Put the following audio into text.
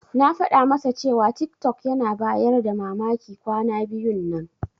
Na faɗa masa cewa tiktok yana bayar da mamaki kwana biyun nan.